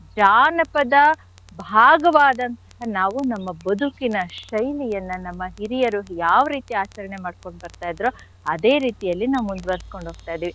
ಜಾನಪದ ಭಾಗವಾದಂಥ ನಾವು ನಮ್ಮ ಬದುಕಿನ ಶೈಲಿಯನ್ನ ನಮ್ಮ ಹಿರಿಯರು ಯಾವ್ ರೀತಿ ಆಚರಣೆ ಮಾಡ್ಕೊಂಡ್ ಬರ್ತಾ ಇದ್ರೊ ಅದೇ ರೀತಿಯಲ್ಲಿ ನಾವ್ ಮುಂದ್ವರಿಸ್ಕೊಂಡು ಹೋಗ್ತಾ ಇದೀವಿ.